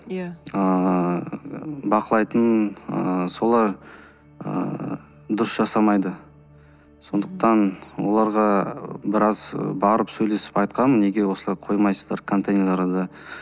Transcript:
иә ыыы бақылайтын ы солар ыыы дұрыс жасамайды сондықтан оларға біраз барып сөйлесіп айтқанмын неге осылай қоймайсыздар контейнерларды